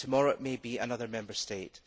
Tomorrow, it may be another Member State.